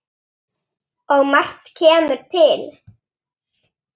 Og margt kemur til.